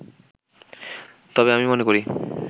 তবে আমি মনে করি